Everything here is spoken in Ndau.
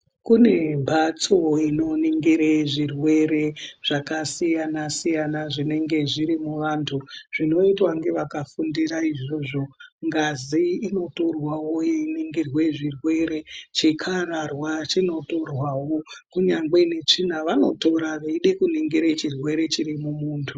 Kune mbatso inoningire zvirwere zvakasiyana-siyana zvinenge zviri muvantu zvinoitwa ngevakafundira izvozvo, ngazi inotorwawo yeiningirwe zvirwere, chikararwa chinotorwawo, kunyangwe netsvina vanotora veide kuningira chirwere chiri mumuntu.